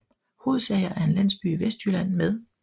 Hodsager er en landsby i Vestjylland med